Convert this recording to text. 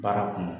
Baara kɔnɔ